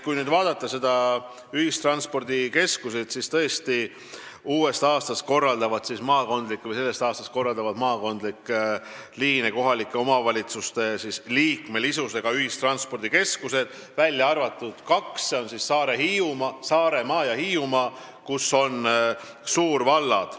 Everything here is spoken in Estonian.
Kui nüüd vaadata ühistranspordikeskuseid, siis tõesti, uuest aastast, sellest aastast korraldavad maakondlikke liine kohalike omavalitsuste liikmesusega ühistranspordikeskused, välja arvatud kaks: Saaremaa ja Hiiumaa, kus on suurvallad.